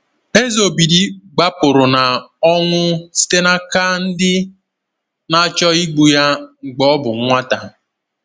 Eze Obidi gbapụrụ na ọnwụ site n’aka ndị na-achọ igbu ya mgbe ọ bụ nwata.